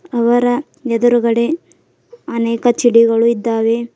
ಅವರ ಎದುರುಗಡೆ ಅನೇಕ ಚಿಡಿಗಳು ಇದ್ದಾವೆ.